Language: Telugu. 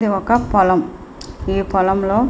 ఇది ఒక పొలం. ఈ పొలం లో--